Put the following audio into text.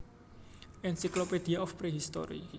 Encyclopedia of Prehistory